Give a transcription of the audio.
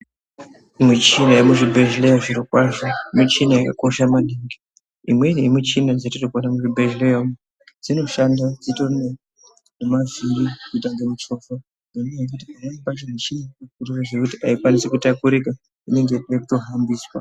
Michina yemuzvibhedhlera zviro kwazvo michina yakosha maningi imweni yemichina dzatinoona muzvibhedhlera umu dzinoshanda dzitori nemavhiri kuita kunge muchovha ngenyaya yekuti imwnei mishina aikwanisi kitakurika inoita zveku hambiswa.